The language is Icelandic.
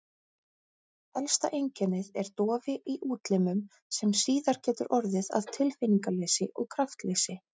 Helsta einkennið er dofi í útlimum sem síðar getur orðið að tilfinningaleysi og kraftleysi.